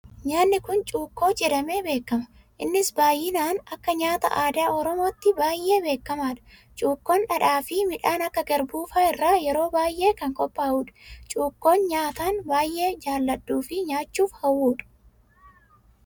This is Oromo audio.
Nyaanni Kun, cuukkoo jedhame beekama. Innis baayyinaan akka nyaata aadaa oromootti baayyee beekamaadha. Cuukkoon dhadhaa fi midhaan akka garbuu fa'aa irraa yeroo baayyee kan qophaa'udha. Cuukkoo nyaatan baayyee jaaladhuu fi nyaachuuf hawwudha.